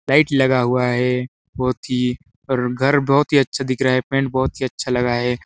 Light लगा हुआ है ही घर बहुत ही अच्छा दिख रहा है पेंट बहुत ही अच्छा लगा है।